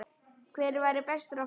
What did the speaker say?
Hvert væri best að fara?